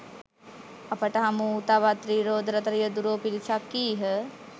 අපට හමුවූ තවත් ති්‍රරෝද රථ රියදුරෝ පිරිසක් කීහ.